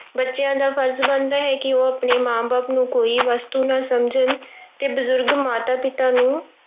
ਬੱਚਿਆਂ ਦਾ ਫ਼ਰਜ਼ ਬਣਦਾ ਹੈ ਕਿ ਉਹ ਆਪਣੇ ਮਾਂ ਬਾਪ ਨੂੰ ਕੋਈ ਵਸਤੂ ਨਾ ਸਮਝਣ ਤੇ ਬਜ਼ੁਰਗਾਂ ਮਾਤਾ-ਪਿਤਾ ਨੂੰ